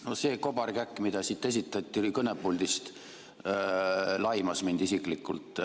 No see kobarkäkk, mida esitati siit kõnepuldist, laimas mind isiklikult.